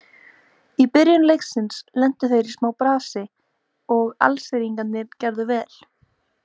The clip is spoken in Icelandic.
Í byrjun leiksins lentu þeir í smá brasi og Alsíringarnir gerðu vel.